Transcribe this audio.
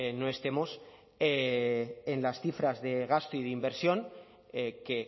no estemos en las cifras de gasto y de inversión que